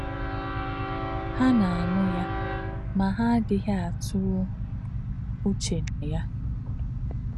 Há̄ nā̄-ànụ́ yá̄, mā̄ há̄ àdí̄ghí̄ àtụ̄rụ̄ uchē nà yá̄.